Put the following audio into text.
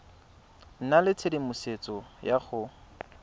nna le tshedimosetso ya go